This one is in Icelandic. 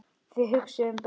Þið hugsið um börnin.